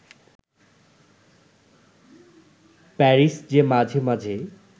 Paris যে মাঝে-মাঝেই